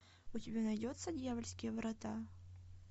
у тебя найдется дьявольские врата